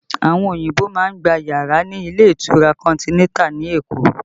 Àwọn òyìnbó má ń gba yàrá ní ilé ìtura Continental ní Èkó